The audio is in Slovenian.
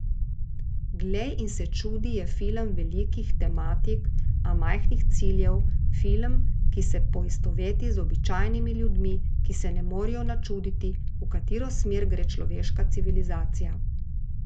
Glej in se čudi je film velikih tematik, a majhnih ciljev, film, ki se poistoveti z običajnimi ljudmi, ki se ne morejo načuditi, v katero smer gre človeška civilizacija.